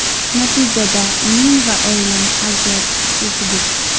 Natijada men va oilam aziyat chekdik.